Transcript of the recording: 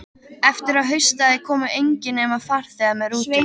Eftir að haustaði komu engir, nema farþegar með rútunni.